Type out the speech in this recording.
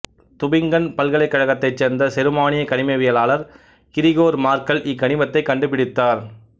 Tubingen பல்கலைக்கழகத்தைச் சேர்ந்த செருமானிய கனிமவியலாளர் கிரிகோர் மார்கல் இக்கனிமத்தைக் கண்டுபிடித்தார்